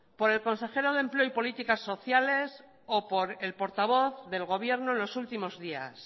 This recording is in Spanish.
por el consejero de empleo y políticas sociales o por el portavoz del gobierno en los últimos días